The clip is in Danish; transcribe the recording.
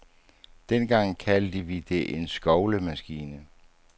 Dengang kaldte vi det en skovlemaskine.